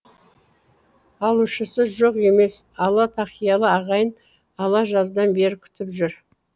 алушысы жоқ емес ала тақиялы ағайын ала жаздан бері күтіп жүр